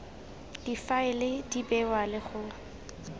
difaele di bewa le go